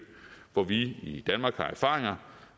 hvor vi i danmark har erfaringer